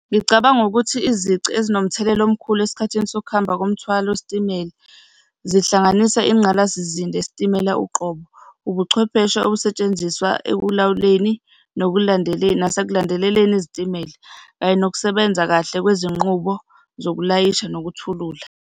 Ngicabanga ukuthi izici ezinomthelela omkhulu esikhathini sokuhamba komthwalo wesitimela, zihlanganisa ingqalasizinda yesitimela uqobo, ubuchwepheshe obusetshenziswa ekulawuleni nasekulandeleleni izitimela kanye nokusebenza kahle kwezinqubo zokulayisha nokuthula.